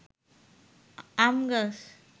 আম গাছ